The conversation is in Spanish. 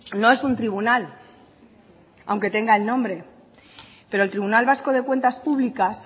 no es un tribunal aunque tenga el nombre pero el tribunal vasco de cuentas públicas